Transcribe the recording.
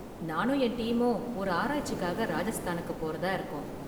நானும் என் டீமும் ஒரு ஆராய்ச்சிக்காக ராஜஸ்தானுக்கு போறதா இருக்கோம்.